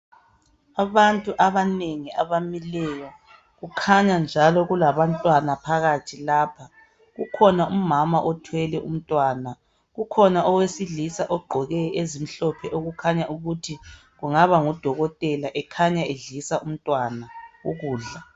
Abantu abanengi abamileyo kukhanya njalo kulabantwana phakathi lapha , kukhona umama othwele umntwana , kukhona owesilisa ogqoke ezimhlophe okukhanya ukuthi kungaba ngudokotela ekhanya edlisa umntwana ukudla